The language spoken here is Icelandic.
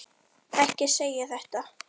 Ekki segja þetta!